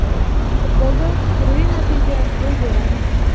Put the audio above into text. Futbolda turli natija ro‘y beradi.